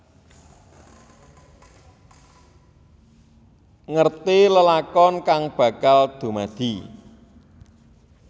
Ngerti lelakon kang bakal dumadi